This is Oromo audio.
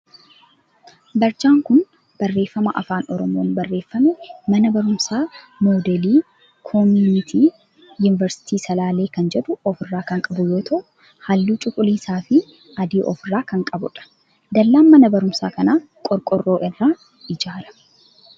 Barjaan kun barreeffama afaan oromoon barreeffame mana barumsaa moodeelii koominitii yuunivarsiitii salalee kan jedhu of irraa kan qabu yoo ta'u halluu cuquliisaa fi adii of irraa kan qabudha. Dallaan mana barumsaa kanaa qorqoorroo irraa ijaarame.